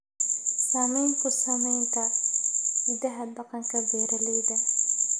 Saamayn ku samaynta hidaha dhaqanka beeralayda.